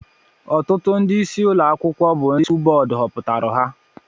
ọtụtụ ndị ịsị ụlọ akwụkwọ bu ndị skụl bódú hoputara ha